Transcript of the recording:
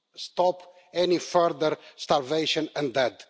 stop any further starvation and death.